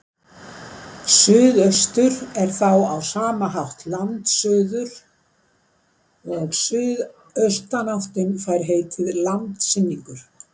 Suðaustur er þá á sama hátt landsuður og suðaustanáttin fær heitið landsynningur.